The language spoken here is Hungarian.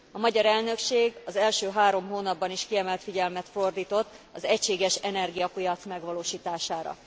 A magyar elnökség az első három hónapban is kiemelt figyelmet fordított az egységes energiapiac megvalósítására.